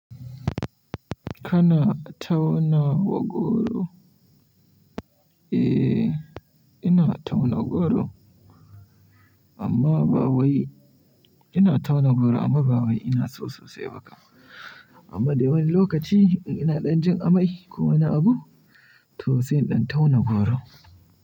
Kana tauna goro? Eh, ina tauna goro amma ba wai, ina tauna goro amma ba wai ina so sosai ba kam. Amma da wani lokaci ina ɗan jin amai ko ina abu, to sai in ɗan tauna goro.